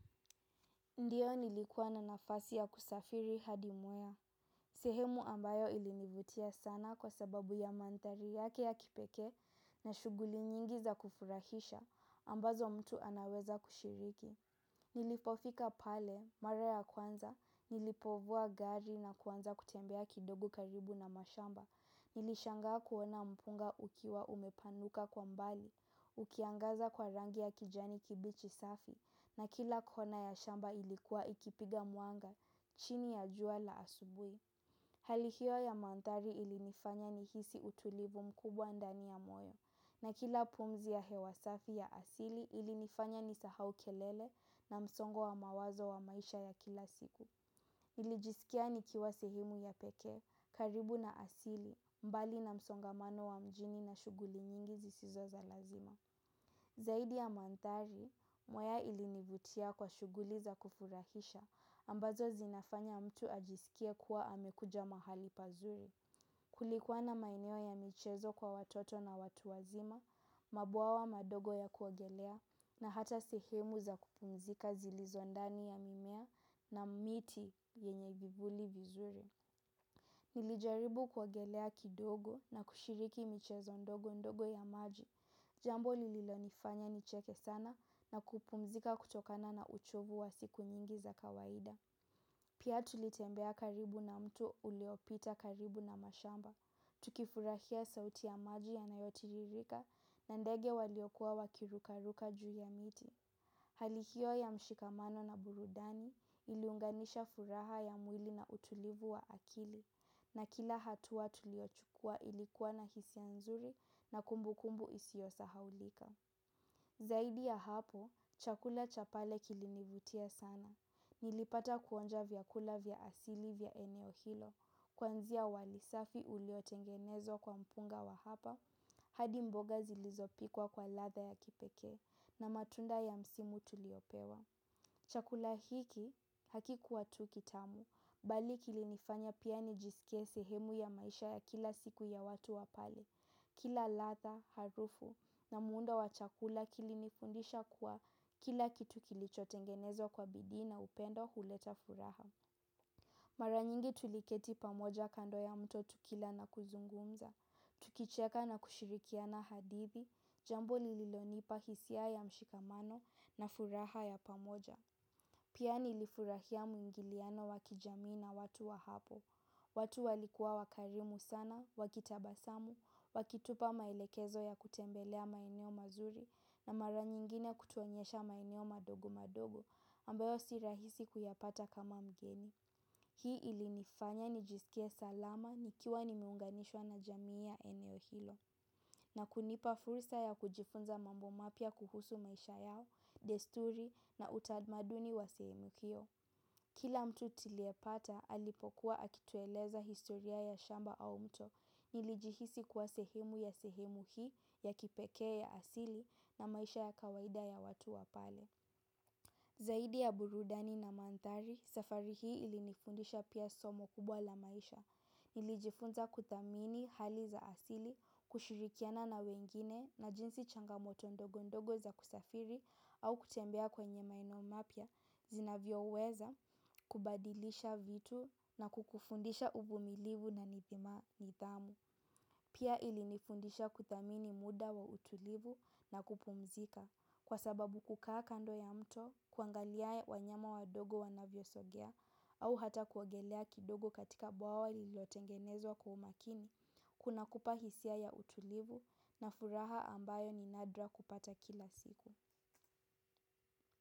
Ndiyo nilikuwa na nafasi ya kusafiri hadi Mwea, sehemu ambayo ilinivutia sana kwa sababu ya mandhari yake ya kipekee na shughuli nyingi za kufurahisha ambazo mtu anaweza kushiriki. Nilipofika pale, mara ya kwanza, nilipovua gari na kwanza kutembea kidogo karibu na mashamba. Nilishangaa kuona mpunga ukiwa umepanuka kwa mbali, ukiangaza kwa rangi ya kijani kibichi safi. Na kila kona ya shamba ilikuwa ikipiga mwanga, chini ya jua la asubuhi. Hali hiyo ya mandhari ilinifanya nihisi utulivu mkubwa ndani ya moyo na kila pumzi ya hewa safi ya asili ilinifanya nisahau kelele na msongo wa mawazo wa maisha ya kila siku. Nilijisikia nikiwa sehemu ya pekee, karibu na asili, mbali na msongamano wa mjini na shughuli nyingi zisizo za lazima. Zaidi ya mandhari, Mwaya ilinivutia kwa shughuli za kufurahisha, ambazo zinafanya mtu ajisikie kuwa amekuja mahali pazuri. Kulikuwa na maeneo ya michezo kwa watoto na watu wazima, mabwawa madogo ya kuogelea na hata sehemu za kupumzika zilizo ndani ya mimea na miti yenye vivuli vizuri. Nilijaribu kuogelea kidogo na kushiriki michezo ndogo ndogo ya maji. Jambo lililonifanya nicheke sana na kupumzika kutokana na uchovu wa siku nyingi za kawaida. Pia tulitembea karibu na mto uliopita karibu na mashamba, tukifurahia sauti ya maji yanayotiririka na ndege waliokuwa wakiruka ruka juu ya miti. Hali hiyo ya mshikamano na burudani iliunganisha furaha ya mwili na utulivu wa akili na kila hatua tuliochukua ilikuwa na hisia nzuri na kumbukumbu isiyosahaulika. Zaidi ya hapo, chakula cha pale kilinivutia sana. Nilipata kuonja vyakula vya asili vya eneo hilo. Kuanzia wali safi uliotengenezwa kwa mpunga wa hapa. Hadi mboga zilizopikwa kwa ladha ya kipekee na matunda ya msimu tuliopewa. Chakula hiki hakikuwa tu kitamu, bali kilinifanya pia nijisikie sehemu ya maisha ya kila siku ya watu wa pale. Kila ladha, harufu na muundo wa chakula kilinifundisha kuwa kila kitu kilichotengenezwa kwa bidii na upendo huleta furaha. Mara nyingi tuliketi pamoja kando ya mto tukila na kuzungumza. Tukicheka na kushirikiana hadithi, jambo lililonipa hisia ya mshikamano na furaha ya pamoja. Pia nilifurahia muingiliano wa kijamii na watu wa hapo. Watu walikuwa wakarimu sana, wakitabasamu, wakitupa maelekezo ya kutembelea maeneo mazuri na mara nyingine kutuonyesha maeneo madogo madogo ambayo si rahisi kuyapata kama mgeni. Hii ilinifanya nijisikie salama nikiwa nimeunganishwa na jamii ya eneo hilo na kunipa fursa ya kujifunza mambo mapya kuhusu maisha yao, desturi na utamaduni wa sehemu hiyo. Kila mtu tuliepata alipokuwa akitueleza historia ya shamba au mto nilijihisi kuwa sehemu ya sehemu hii ya kipekee ya asili na maisha ya kawaida ya watu wa pale. Zaidi ya burudani na mandhari, safari hii ilinifundisha pia somo kubwa la maisha, nilijifunza kuthamini hali za asili, kushirikiana na wengine na jinsi changamoto ndogo ndogo za kusafiri au kutembea kwenye maeneo mapya, zinavyoweza kubadilisha vitu na kukufundisha uvumilivu na nidhamu. Pia ilinifundisha kuthamini muda wa utulivu na kupumzika kwasababu kukaa kando ya mto kuangalia wanyama wadogo wanavyosogea au hata kuogelea kidogo katika bwawa lilotengenezwa kwa umakini kunakupa hisia ya utulivu na furaha ambayo ni nadra kupata kila siku.